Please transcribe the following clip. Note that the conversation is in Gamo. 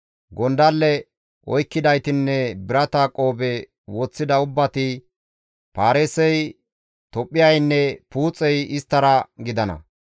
Gondalle oykkidaytinne birata qoobe woththida ubbati, Paarisey, Tophphiyaynne Puuxey isttara gidana.